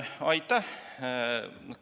Aitäh!